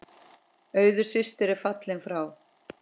Auður systir er fallin frá.